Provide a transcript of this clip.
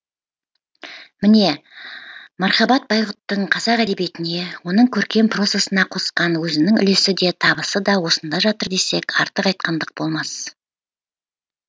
міне мархабат байғұттың қазақ әдебеиетіне оның көркем прозасына қосқан өзінің үлесі де табысы да осында жатыр десек артық айтқандық болмас